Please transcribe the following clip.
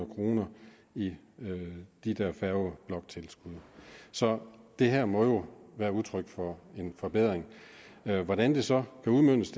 kroner i de der færgebloktilskud så det her må jo være udtryk for en forbedring hvordan det så kan udmøntes